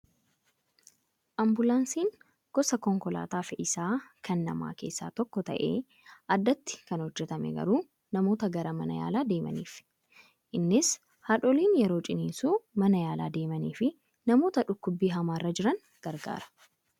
Ambulaansiin gosa konkolaataa fe'iisaa kan namaa keessaa tokko ta'ee addatti kan hojjatame garuu namoota gara mana yaalaa deemaniifi. Innis haadholii yeroo ciniinsuu mana yaalaa deemanii fi namoota dhukkubbii hamaarra jiran gargaara.